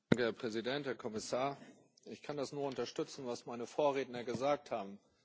Herr Präsident, Herr Kommissar, ich kann das nur unterstützen was meine Vorredner gesagt haben.